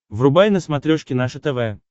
врубай на смотрешке наше тв